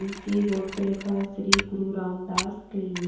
जिसके बोर्ड पर लिखा है श्री गुरु रामदास क्लिनी .